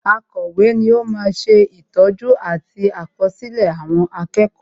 Akọ̀wé ni ó ma ń sè ìtọ́jú àti àkọsílẹ̀ àwọn akẹ́kọ̀ọ́